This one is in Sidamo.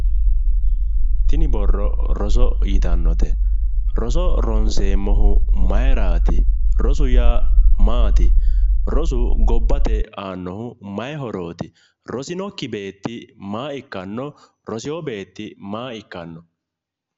Tini borro roso yitannote? roso ronseemmohu maayiiraati? rosu yaa maati? rosu gobbate aannohu mayii horooti? rosinokki beetti maa ikkanno? rosewo beetti maa ikkanno?